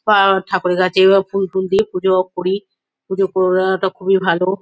বা ঠাকুরের কাছে বা ফুল টুল দিয়ে পুজোও করি। পুজো করাটা খুবই ভালো।